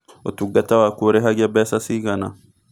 ũtungata waku ũrĩhagia mbeca cigana?